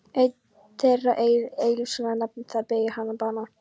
Einn þeirra, Egill Ísleifsson að nafni, beið þegar bana.